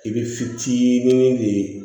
I bɛ fitinin de ye